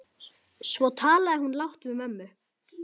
Svo talaði hún lágt við mömmu.